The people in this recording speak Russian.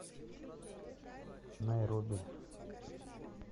найроби